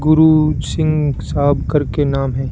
गुरु सिंह साहब करके नाम है।